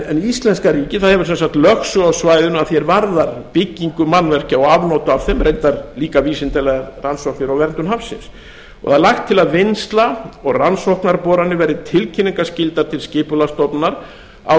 en íslenska ríkið hefur sem sagt lögsögu á svæðinu að því varðar byggingu mannvirkja og afnot af þeim reyndar líka vísindalegar rannsóknir á verndun hafsins það er lagt til að vinnsla og rannsóknarboranir verði tilkynningaskyldar til skipulagsstofnunar á